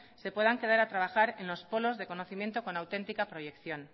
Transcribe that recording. se puedan quedar a trabajar en los polos de conocimiento con autentica proyección